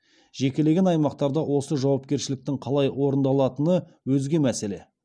жекелеген аймақтарда осы жауапкершіліктің қалай орындалатыны өзге мәселе